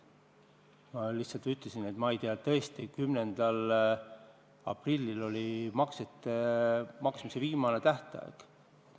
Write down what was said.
Ma lihtsalt ütlesin, et ma tõesti ei tea 10. aprilli seisu, kui lõppes maksete maksmise tähtaeg.